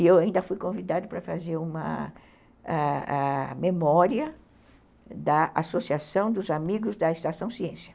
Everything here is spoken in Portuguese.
E eu ainda fui convidada para fazer uma ãh ãh ãh memória da Associação dos Amigos da Estação Ciência.